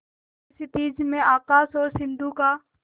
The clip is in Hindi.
जैसे क्षितिज में आकाश और सिंधु का